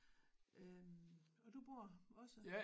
Øh og du bor også